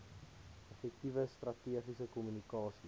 effektiewe strategiese kommunikasie